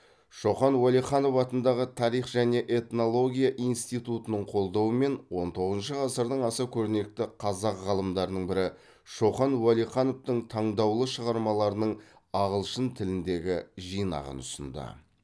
шоқан уәлиханов атындағы тарих және этнология институтының қолдауымен он тоғызыншы ғасырдың аса көрнекті қазақ ғалымдарының бірі шоқан уәлихановтың таңдаулы шығармаларының ағылшын тіліндегі жинағын ұсынды